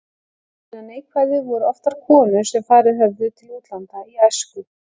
Meðal hinna neikvæðu voru oftar konur sem farið höfðu til útlanda í æsku.